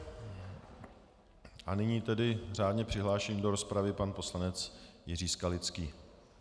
A nyní tedy řádně přihlášený do rozpravy pan poslanec Jiří Skalický.